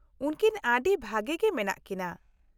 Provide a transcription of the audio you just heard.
-ᱩᱱᱠᱤᱱ ᱟᱹᱰᱤ ᱵᱷᱟᱹᱜᱤ ᱜᱮ ᱢᱮᱱᱟᱜ ᱠᱤᱱᱟᱹ ᱾